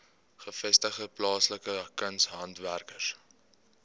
gevestigde plaaslike kunshandwerkers